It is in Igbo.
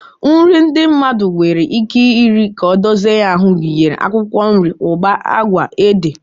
Nri ndị mmadụ nwere ike iri ka ọ dozie ya ahụ gụnyere akwụkwọ nri, ụgba, agwa, ede,